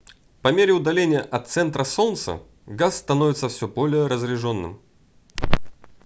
по мере удаления от центра солнца газ становится все более разряжённым